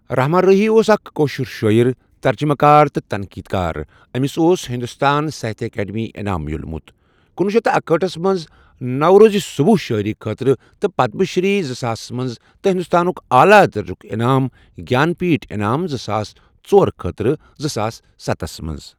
رَحمان راہی اوس اَکھ کٲشُر شٲیعر، تَرجَمہٕ کار تہٕ تَنقیٖد کار اَمِس اوس ہِندوستان ساہِتیا اکاڈمی انعام میلومُت۔ کنوہہ شتھ اکہٲٹھس مَنٛز نَوزوزِ صُبَح شٲیِری خٲطرٕ تہٕ پَدَم شِری، زٕ ساسس مَنٛز تہٕ ہِنٛدوستانُک اعلیٰ درجُک انعام جہانپِتھ انعام زٕ ساس ژور خٲطرٕ زٕ ساس ستس منٛز.